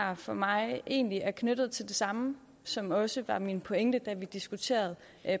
her for mig egentlig er knyttet til det samme som også var min pointe da vi diskuterede